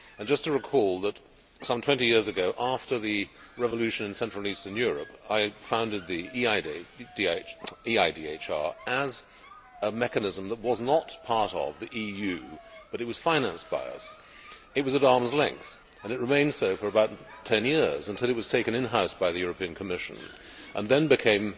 Just to recall, some 20 years ago, after the revolution in Central and Eastern Europe, I founded the EIDHR as a mechanism that was not part of the EU, but it was financed by us. It was at arms length and it remained so for about ten years until it was taken in house by the European Commission and then became,